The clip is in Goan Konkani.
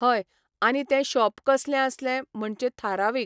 हय आनी तें शॉप कसलें आसलें म्हणचे थारावीक